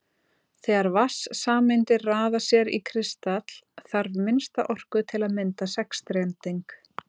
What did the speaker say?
þegar vatnssameindir raða sér í kristall þarf minnsta orku til að mynda sexstrending